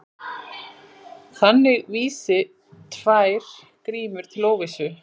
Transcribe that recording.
Þannig vísi tvær grímur til óvissu.